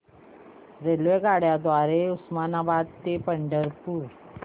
रेल्वेगाड्यां द्वारे उस्मानाबाद ते पंढरपूर